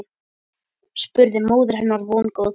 spurði móðir hennar vongóð.